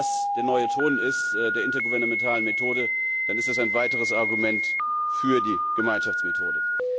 Wenn das der neue Ton der intergouvernementalen Methode ist, dann ist das ein weiteres Argument für die Gemeinschaftsmethode.